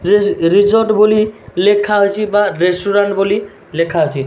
Ridge resort ବୋଲି ଲେଖାଅଛି ବା ରେଷ୍ଟୁରାଣ୍ଟ୍ ବୋଲି ଲେଖା ଅଛି।